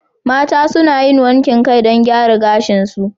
Mata suna yin wankin kai don gyara gashinsu.